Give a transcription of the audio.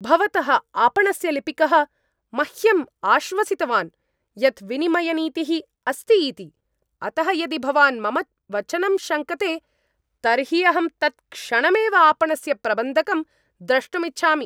भवतः आपणस्य लिपिकः मह्यं आश्वसितवान् यत् विनिमयनीतिः अस्ति इति, अतः यदि भवान् मम वचनं शङ्कते तर्हि अहं तत्क्षणमेव आपणस्य प्रबन्धकं द्रष्टुम् इच्छामि।